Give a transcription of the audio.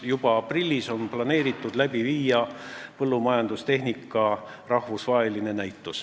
Juba aprillis on planeeritud seal rahvusvaheline põllumajandustehnika näitus läbi viia.